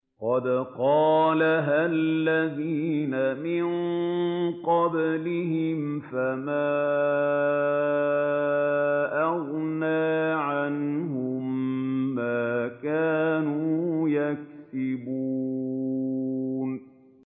قَدْ قَالَهَا الَّذِينَ مِن قَبْلِهِمْ فَمَا أَغْنَىٰ عَنْهُم مَّا كَانُوا يَكْسِبُونَ